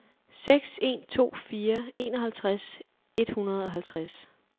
seks en to fire enoghalvtreds et hundrede og halvtreds